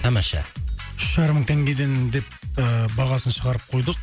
тамаша үш жарым мың тенгеден деп ыыы бағасын шығарып қойдық